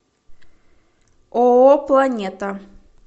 ооо планета